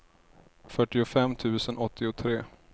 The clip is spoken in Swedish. fyrtiofem tusen åttiotre